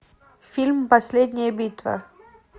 фильм последняя битва